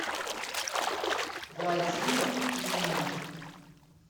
владимир клинов